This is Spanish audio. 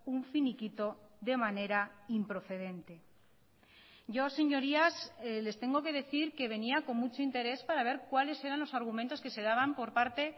un finiquito de manera improcedente yo señorías les tengo que decir que venía con mucho interés para ver cuáles eran los argumentos que se daban por parte